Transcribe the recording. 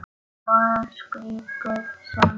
Svo skrítið sem það er.